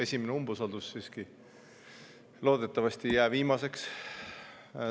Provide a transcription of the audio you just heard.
Esimene umbusaldus siiski, loodetavasti ei jää viimaseks.